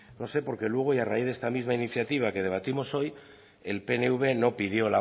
no sé porque luego y a raíz de esta misma iniciativa que debatimos hoy el pnv no pidió